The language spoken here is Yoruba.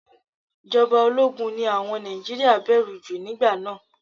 Ìjọba ológun ni àwọn Nàìjíríà bẹ̀rù jù nígbà náà.